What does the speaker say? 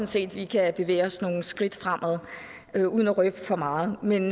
set vi kan bevæge os nogle skridt fremad uden at røbe for meget men